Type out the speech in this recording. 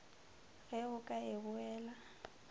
ge o ka e buela